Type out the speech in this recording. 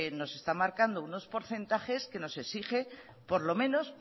nos está marcando unos porcentaje que nos exige por lo menos